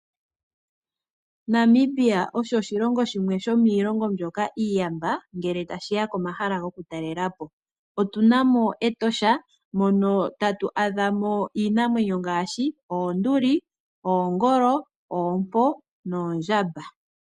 Namibia osho oshilongo shimwe sho miilongo mbyoka iiyamba ngele tashiya komahala goku talela po. Otuna mo Etosha mono tatu adha mo iinamwenyo ngaashi oonduli, oongolo, oompo noondjamba.